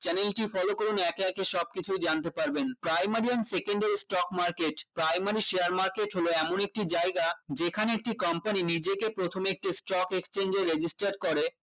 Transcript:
channel টি follow করুন একে একে সব কিছু জানতে পারবেন primary and secondary stock market primary share market হল এমন একটি জায়গা যেখানে একটি company নিজেকে প্রথমে একটি stock exchange এ register করে